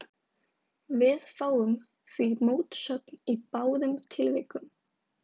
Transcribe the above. Við fáum því mótsögn í báðum tilvikum.